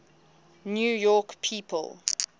new york people